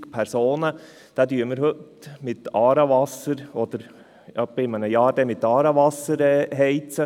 Diese Wohnungen werden wir in etwa einem Jahr mit Aarewasser heizen.